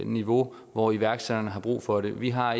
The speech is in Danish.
niveau hvor iværksætterne har brug for det vi har